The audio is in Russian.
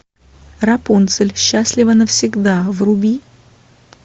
рапунцель счастлива навсегда вруби